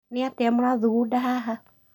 Nĩ atĩa mũrathugunda haha?